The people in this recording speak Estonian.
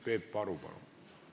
Peep Aru, palun!